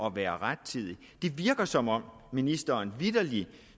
at være rettidig det virker som om ministeren vitterlig